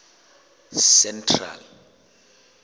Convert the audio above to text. central